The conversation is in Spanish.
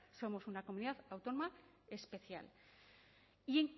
somos una comunidad autónoma especial y